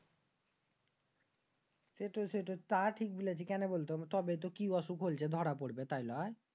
সেটাই সেটাই তা ঠিক বলেছিস। কেনে বল তো তবে তো কি অসুখ হইছে দরা পরবে তাইনা?